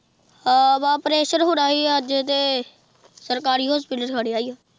ਹਾਂ ਭਰਾ ਓਪਰੇਸ਼ਨ ਹੁਣਾ ਹੀ ਅੱਜ ਤੇ ਸਰਕਾਰੀ ਹੋਸਪਿਟਲ ਖੜਿਆ ਏ।